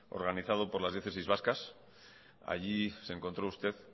organizado por las diócesis vascas allí se encontró usted